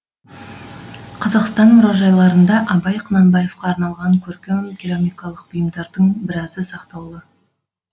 қазақстан мұражайларында абай құнанбаевқа арналған көркем керамикалық бұйымдардың біразы сақтаулы